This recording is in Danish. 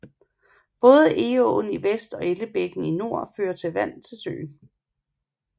Både Egåen i vest og Ellebækken i nord fører vand til søen